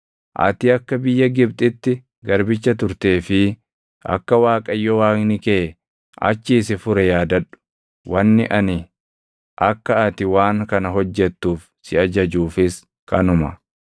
Ati akka biyya Gibxitti garbicha turtee fi akka Waaqayyo Waaqni kee achii si fure yaadadhu. Wanni ani akka ati waan kana hojjettuuf si ajajuufis kanuma.